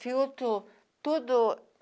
Filtro, tudo.